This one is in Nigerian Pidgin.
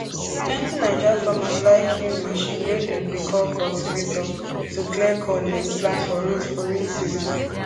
plenty naija farmers like use machine wey dem dey call cultivator to clear corn dem plant for rows for rain season